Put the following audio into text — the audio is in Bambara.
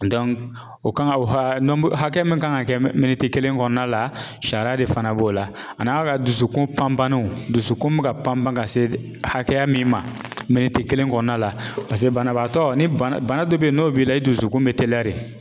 o kan ka o hakɛ, hakɛ min kan ka kɛ kelen kɔnɔna la sariya de fana b'o la ani a ka dusukun panbanaw, yé dusukun bɛ ka pan pan ka se hakɛya minu te ,ma kelen kɔnɔna la paseke banabaatɔ ni bana dɔ bɛ yen n'o b'i la, i dusukun bɛ teliya de